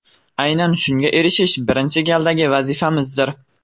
Aynan shunga erishish birinchi galdagi vazifamizdir.